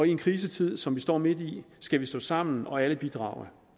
i en krisetid som vi står midt i skal vi stå sammen og alle bidrage